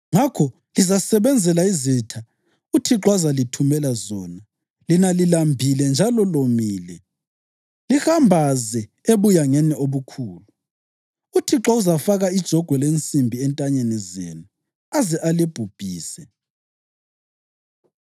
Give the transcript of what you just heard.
ngakho lizasebenzela izitha uThixo azalithumela zona lina lilambile njalo lomile, lihambaze ebuyangeni obukhulu. UThixo uzafaka ijogwe lensimbi entanyeni zenu aze alibhubhise.